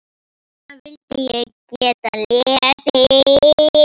Hana vildi ég geta lesið.